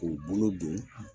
K'o bolo don